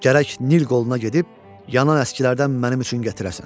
Gərək Nil qoluna gedib yanan əskilərdən mənim üçün gətirəsən.